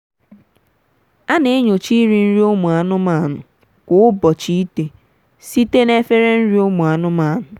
ana-enyocha iri nri ụmụ anụmanụ kwa ubochịite site na efere nri umu anụmanụ.